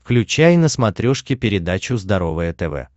включай на смотрешке передачу здоровое тв